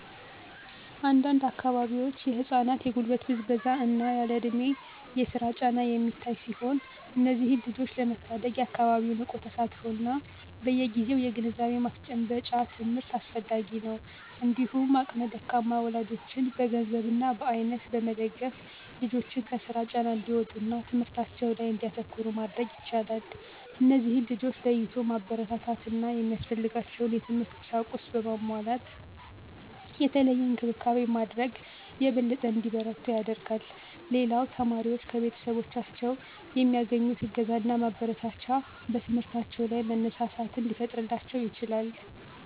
አንድ አንድ አካባቢዎች የህፃናት የጉልበት ብዝበዛ እና ያለእድሜ የስራ ጫና የሚታይ ሲሆን እነዚህን ልጆች ለመታደግ የአካባቢው ንቁ ተሳትፎ እና በየግዜው የግንዛቤ ማስጨበጫ ትምህርት አስፈላጊ ነው። እንዲሁም አቅመ ደካማ ወላጆችን በገንዘብ እና በአይነት በመደገፍ ልጆችን ከስራ ጫና እንዲወጡ እና ትምህርታቸው ላይ እንዲያተኩሩ ማድረግ ይቻላል። እነዚህን ልጆች ለይቶ ማበረታታት እና ሚያስፈልጋቸውን የትምህርት ቁሳቁስ በማሟላት የተለየ እንክብካቤ ማድረግ የበለጠ እንዲበረቱ ያደርጋል። ሌላው ተማሪዎች ከቤተሰቦቻቸው የሚያገኙት እገዛና ማበረታቻ በትምህርታቸው ላይ መነሳሳትን ሊፈጥርላቸው ይችላል።